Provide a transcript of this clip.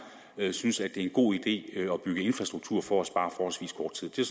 synes er en god idé at bygge infrastruktur for at spare forholdsvis kort tid det